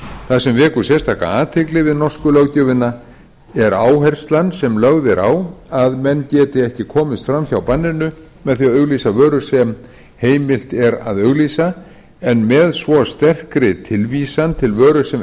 það sem vekur sérstaka athygli við norsku löggjöfina er áherslan sem lögð er á að menn geti ekki komist fram hjá banninu með því að auglýsa vöru sem heimilt er að auglýsa en með svo sterkri tilvísan til vöru sem